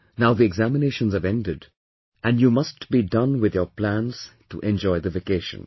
Now the examinations have ended and you must be done with your plans to enjoy the vacation